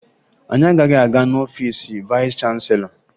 Anyị agaghị aga n'ọfiice vayịs chanselọ